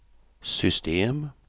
system